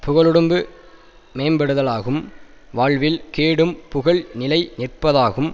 புகழுடம்பு மேம்படுதலாகும் வாழ்வில் கேடும் புகழ் நிலை நிற்பதாகும்